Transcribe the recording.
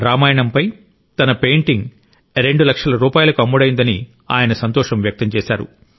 రామాయణంపై తన పెయింటింగ్ రెండు లక్షల రూపాయలకు అమ్ముడైందని ఆయన సంతోషం వ్యక్తం చేశారు